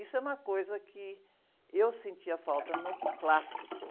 Isso é uma coisa que eu sentia falta no clássico.